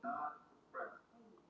Tölur eru í milljónum króna.